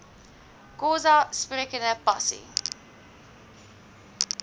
xhosa sprekende pasi